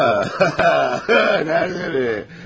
Ha, ha, nədə, nədə?